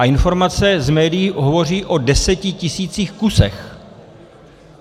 A informace z médií hovoří o desetitisících kusů.